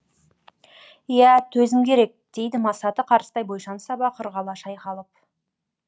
иә төзім керек дейді масаты қарыстай бойшаң сабақ ырғала шайқалып